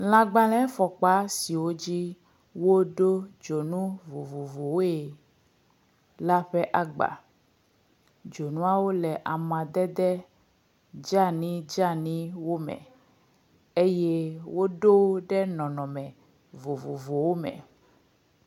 Lãgbãlɛfɔkpa siwo dzi woɖo dzonu vovovowoe la ƒe agba, dzonuawo amadede dzani dzaniwo me eye woɖo ɖe nɔnɔme vovovowo me.